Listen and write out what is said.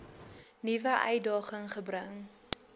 nuwe uitdaging gebring